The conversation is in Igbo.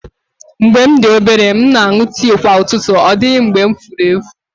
Mgbe m dị obere, m na-aṅụ tii kwa ụtụtụ, ọ dịghị mgbe m furu efu